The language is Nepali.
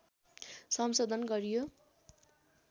संशोधन गरियो